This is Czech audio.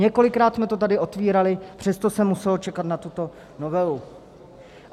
Několikrát jsme to tady otvírali, přesto se muselo čekat na tuto novelu.